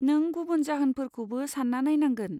नों गुबुन जाहोनफोरखौबो सान्ना नायनांगोन।